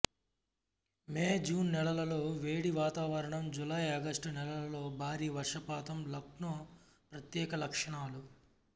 మే June నెలల్లో వేడి వాతావరణం జూలై ఆగస్టు నెలలలో భారీ వర్షపాతం లక్నో ప్రత్యేక లక్షణాలు